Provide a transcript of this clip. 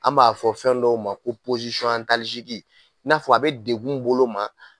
An b'a fɔ fɛn dɔw ma ko i n'a fɔ a be degun bolo ma